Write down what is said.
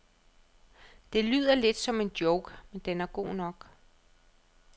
Det lyder lidt som en joke, men den er god nok.